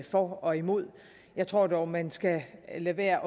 for og imod jeg tror dog at man skal lade være